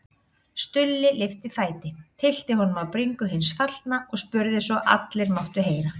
Stulli lyfti fæti, tyllti honum á bringu hins fallna og spurði svo allir máttu heyra